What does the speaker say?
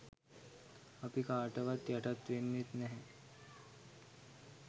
අපි කාටවත් යටත් වෙන්නේත් නැහැ.